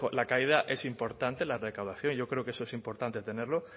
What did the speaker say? la caída es importante en la recaudación yo creo que eso es importante tenerlo